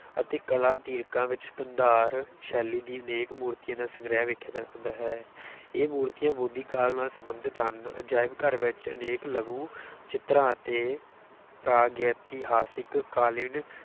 ਅਤੇ ਕਲਾ ਦੀਰਘਾਂ ਵਿੱਚ ਗੰਧਾਰ ਸ਼ੈਲੀ ਦੀ ਅਨੇਕ ਮੂਰਤੀਆਂ ਦਾ ਸੰਗ੍ਰਿਹ ਵੇਖਿਆ ਜਾ ਸਕਦਾ ਹੈ ਇਹ ਮੂਰਤੀਆਂ ਬੋਧੀ ਕਾਲ ਨਾਲ ਸਬੰਧਤ ਹਨ, ਅਜਾਇਬ-ਘਰ ਵਿੱਚ ਅਨੇਕ ਲਘੂ ਚਿਤਰਾਂ ਅਤੇ ਪ੍ਰਾਗੈਤੀਹਾਸਿਕ ਕਾਲੀਨ